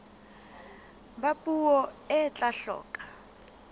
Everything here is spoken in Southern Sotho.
ba puo e tla hloka